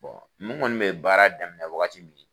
n kɔni bɛ baara daminɛ wagati min